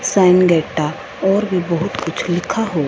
San गेट्टा और भी बहुत कुछ लिखा हु--